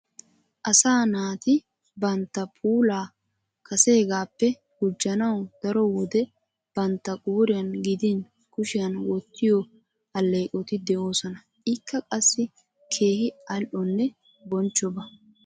Asaa naati bantta puulaa kaseegaappe gujjanawu daro wode bantta qooriyan gidin kushiyan wottiyo alleeqoti de'oosona. Ikka qassi keehi al"onne bonchchoba.